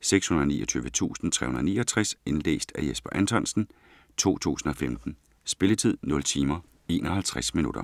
629369 Indlæst af Jesper Anthonsen, 2015. Spilletid: 0 timer, 51 minutter.